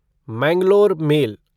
Mangalore mail